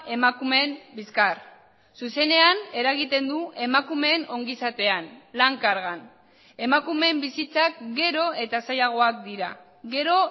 emakumeen bizkar zuzenean eragiten du emakumeen ongizatean lan kargan emakumeen bizitzak gero eta zailagoak dira gero